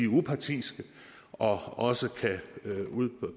upartiske og også kan